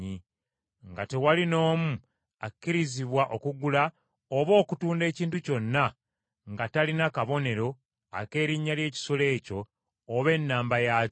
nga tewali n’omu akkirizibwa okugula oba okutunda ekintu kyonna, nga talina kabonero ak’erinnya ly’ekisolo ekyo oba ennamba yaakyo.